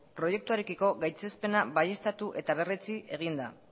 proiektuarekiko gaitzespena baieztatu eta berretsi egin da